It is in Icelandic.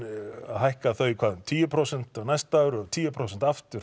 að hækka þau um tíu prósent á næsta ári og tíu prósent aftur